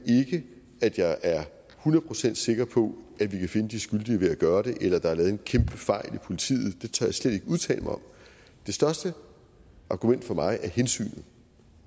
ikke at jeg er hundrede procent sikker på at vi kan finde de skyldige ved at gøre det eller at der er lavet en kæmpe fejl hos politiet det tør jeg slet ikke udtale mig om det største argument for mig er hensynet